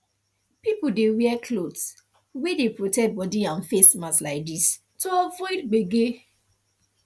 people dey wear cloth wey dey protect body and face mask like this to avoid gbege